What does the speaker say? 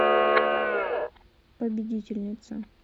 победительница